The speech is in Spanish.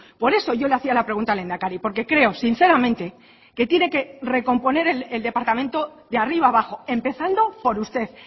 por eso yo le hacía la pregunta al lehendakari porque creo sinceramente que tiene que recomponer el departamento de arriba abajo empezando por usted